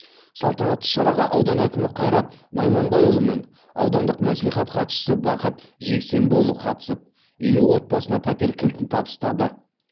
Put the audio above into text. салтанатты шараға аудан әкімі қайрат найманбайұлы мен аудандық маслихат хатшысы бақыт жексембіұлы қатысып елу отбасына пәтер кілтін табыстады